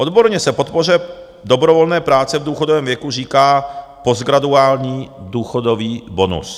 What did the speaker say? Odborně se podpoře dobrovolné práce v důchodovém věku říká postgraduální důchodový bonus.